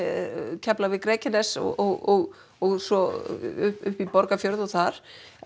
Keflavík Reykjanes og og svo upp í Borgarfjörð og þar